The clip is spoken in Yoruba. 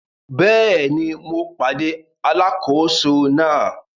Bẹ́ẹ̀ni, mo pàdé alákòóso náà.